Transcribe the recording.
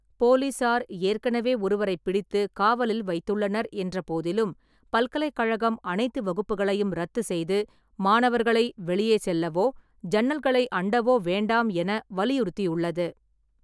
போலீசார் ஏற்கனவே ஒருவரைப் பிடித்து காவலில் வைத்துள்ளனர் என்றபோதிலும், பல்கலைக்கழகம் அனைத்து வகுப்புகளையும் ரத்து செய்து மாணவர்களை வெளியே செல்லவோ ஜன்னல்களை அண்டவோ வேண்டாம் என வலியுறுத்தியுள்ளது.